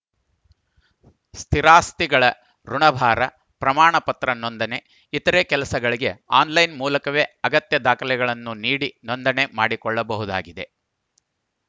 ಸ್ಥಿರಾಸ್ತಿಗಳ ಋುಣಭಾರ ಪ್ರಮಾಣ ಪತ್ರ ನೋಂದಣಿ ಇತರೆ ಕೆಲಸಗಳಿಗೆ ಆನ್‌ಲೈನ್‌ ಮೂಲಕವೇ ಅಗತ್ಯ ದಾಖಲೆಗಳನ್ನು ನೀಡಿ ನೊಂದಣಿ ಮಾಡಿಕೊಳ್ಳಬಹುದಾಗಿದೆ